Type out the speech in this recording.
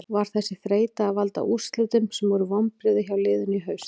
Var þessi þreyta að valda úrslitum sem voru vonbrigði hjá liðinu í haust?